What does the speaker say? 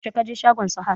yaushe ka je shagon Sahad?